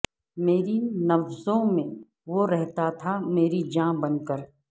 میری نبضوں میں وہ رہتا تھا مری جاں بن کر